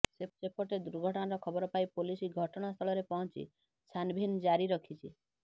ସେପଟେ ଦୁର୍ଘଟଣାର ଖବର ପାଇ ପୋଲିସ ଘଟଣାସ୍ଥଳରେ ପହଞ୍ଚି ଛାନ୍ଭିନ୍ ଜାରି ରଖିଛି